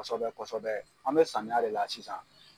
Kɔsɛbɛ kɔsɛbɛ an mi samiya de la sisan